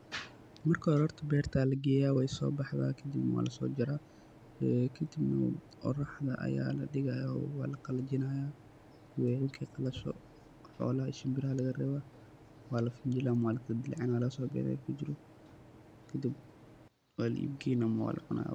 Marka hore horta berta aya lageya wey sobaxda kadibna walasojara kadibna oroxda aya ladhiga oo walaqalajinaya markey qalasho xolaha iyo shimbiraha aya lagarewa waladilacina walagasobixina wixi kujiro kadib wala iib geyna ama walacuna.